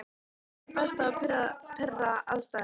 Hvernig er best að pirra andstæðinginn?